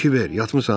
Kibver, yatmısan?